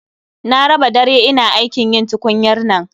Na raba dare ina aikin yin tukunyar nan